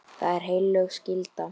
Það er heilög skylda.